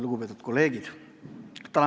Lugupeetud kolleegid!